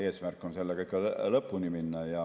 Eesmärk on sellega lõpuni minna.